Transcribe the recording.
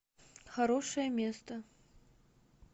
хорошее место